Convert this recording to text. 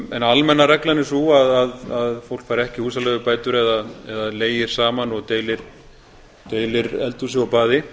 en almenna reglan er sú að fólk fær ekki húsaleigubætur ef það leigir saman og deilir eldhúsi og baði